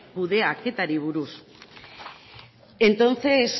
kudeaketari buruz entonces